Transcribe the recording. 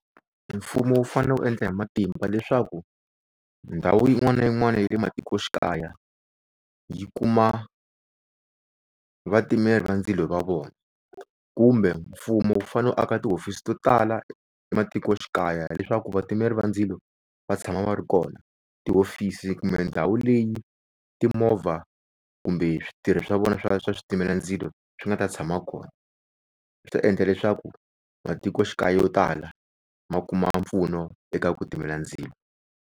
Mfumo wu fanele wu endla hi matimba leswaku ndhawu yin'wana na yin'wana ya le matikoxikaya yi kuma vatimeli va ndzilo va vona. Kumbe mfumo wu fanele wu aka ti hofisi to tala ematikoxikaya leswaku vatimeli va ndzilo va tshama va ri kona. Tihofisi kumbe ndhawu leyi timovha kumbe switirhi swa vona swa switimela ndzilo swi nga ta tshama kona. Swi ta endla leswaku matikoxikaya yo tala ma kuma mpfuno eka ku timela ndzilo.